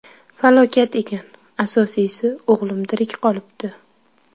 Falokat ekan, asosiysi, o‘g‘lim tirik qolibdi.